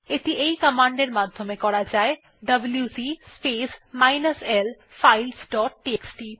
এটি এই কমান্ড এর মাধ্যমে করা যায় WC space minus l files dot TXT